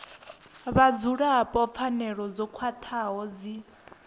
vhadzulapo pfanelo dzo khwathaho dzi